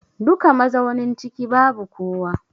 Duka mazaunin ciki babu kowa.